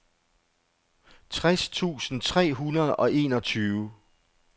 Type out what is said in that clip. tres tusind tre hundrede og enogtyve